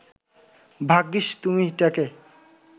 ভাগ্যিস তুমি ট্যাঁকে